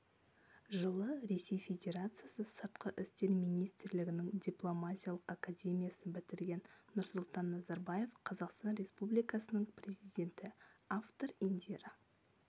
жылы ресей федерациясы сыртқы істер министрлігінің дипломатиялық академиясын бітірген нұрсұлтан назарбаев қазақстан республикасының президенті автор индира